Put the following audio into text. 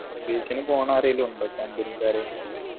aviation പോണ ആരേലും ഉണ്ടോ company ക്കാര്